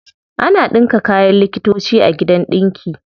Ana ɗinka kayan likitoci a gidan ɗinki.